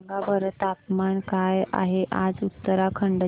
सांगा बरं तापमान काय आहे आज उत्तराखंड चे